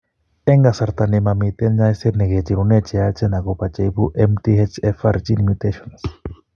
Eng' kasarta ni mamiten ny'ayseet ne kicherune cheyachen akopo che ibu MTHFR gene mutations.